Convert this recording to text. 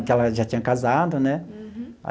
Que ela já tinha casado, né? Uhum.